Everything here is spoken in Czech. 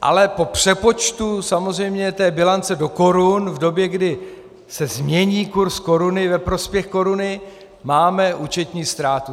Ale po přepočtu samozřejmě té bilance do korun v době, kdy se změní kurz koruny ve prospěch koruny, máme účetní ztrátu.